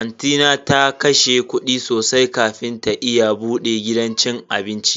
Anti na ta kashe kudi sosai kafin ta iya bude gidan cin abinci.